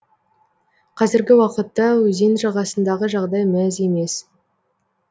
қазіргі уақытта өзен жағасындағы жағдай мәз емес